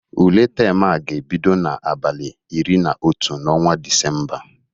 Ule tem a ga-ebido n'abalị iri na otu n'ọnwa Disemba